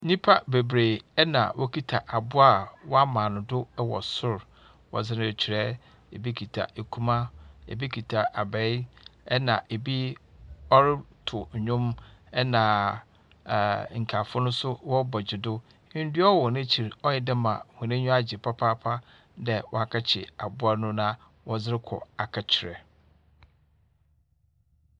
Onipa bebree a wokita aboa wɔamaa no do wɔ sor wɔdze rekyerɛ. Obi kita akuma. Ebi kita abae, na ebi ɔretow ndwom. Na nkaefo rebɔ gye do. Ndua wɔ n'akyir. Ɔyɛ dɛ ma n'enyi agye papaapa. Ɔyɛ de wɔakyir aboa na wɔdzerekɔ kyerɛ.